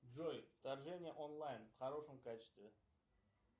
джой вторжение онлайн в хорошем качестве